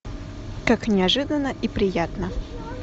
как неожиданно и приятно